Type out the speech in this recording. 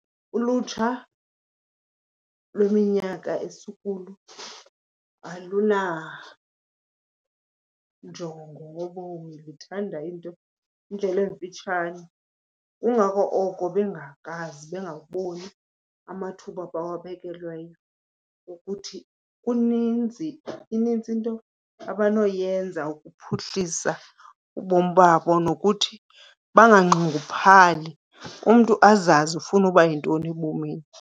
Ulutsha lweminyaka esikuyo alunanjongo ngobomi, luthanda into, indlela emfitshane. Kungako oko bengakwazi, bengaboni amathuba ebawabekelweyo ukuthi kuninzi, inintsi into abanoyenza ukuphuhlisa ubomi babo nokuthi banganxunguphali, umntu azazi ufuna uba yintoni ebomini.